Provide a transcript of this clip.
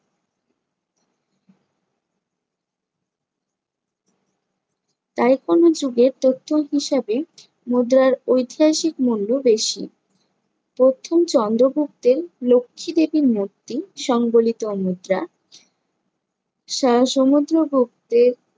তাই কোনো যুগের তথ্য হিসাবে মুদ্রার ঐতিহাসিক মূল্য বেশি। প্রথম চন্দ্রগুপ্তের লক্ষীদেবীর মূর্তি সংবলিত মুদ্রা সা~ সমুদ্রগুপ্তের